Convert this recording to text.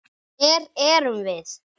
Hver erum við?